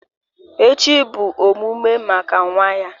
Echi bụ omume maka nwa ya